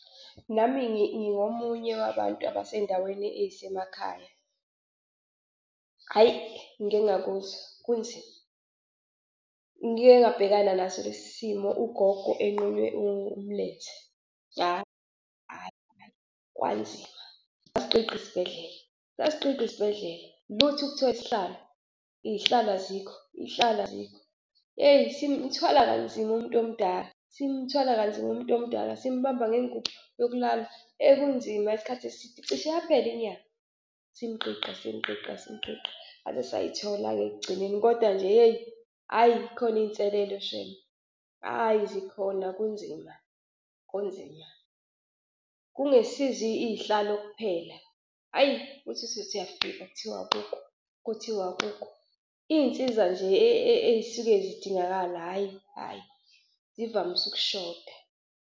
Nami ngingomunye wabantu abasey'ndaweni ezisemakhaya. Hhayi, ngike ngakuzwa kunzima! Ngike ngabhekana naso lesi simo ugogo enqunywe umlenze. Hhayi kwanzima, sasigqigqa isibhedlela, sasigqigqa isibhedlela, lutho ukuthola isihlalo. Iy'hlalo azikho, iy'hlalo azikho. Hheyi, simthwala kanzima umntomdala simthwala kanzima umntomdala, simbamba ngengubo yokulala, hheyi kunzima isikhathi eside. Cishe yaphela inyanga simgqigqa simgqigqa simgqigqa saze sayithola-ke ekugcineni kodwa nje yeyi hhayi zikhona izinselelo shemu, hhayi zikhona kunzima, kunzima. Kungesizo iy'hlalo kuphela. Hhayi, uthi uthi usuthi uyafika kuthiwa akukho kuthiwa akukho. Iy'nsiza nje ezisuke zidingakala hhayi hhayi zivamise ukushoda.